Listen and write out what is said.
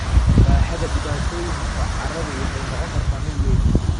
Baaxadda dhibaatooyinka carradu waxay noqon kartaa mid weyn.